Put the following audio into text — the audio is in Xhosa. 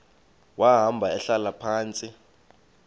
wahamba ehlala phantsi